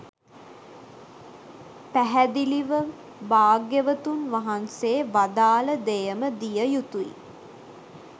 පැහැදිලිව භාග්‍යවතුන් වහන්සේ වදාළ දෙයම දිය යුතුයි.